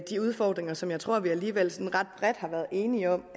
de udfordringer som jeg tror at vi alligevel sådan ret bredt har været enige om